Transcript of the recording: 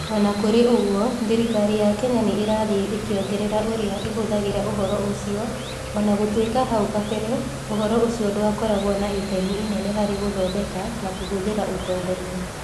O na kũrĩ ũguo, thirikari ya Kenya nĩ ĩrathiĩ ĩkĩongerera ũrĩa ĩhũthagĩra ũhoro ũcio, o na gũtuĩka hau kabere ũhoro ũcio ndwakoragwo na itemi inene harĩ gũthondeka na kũhũthĩra ũtongoria.